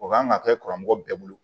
O kan ka kɛ karamɔgɔ bɛɛ bolo